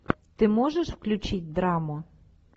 ты можешь включить драму